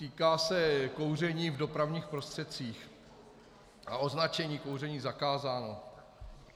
Týká se kouření v dopravních prostředcích a označení Kouření zakázáno.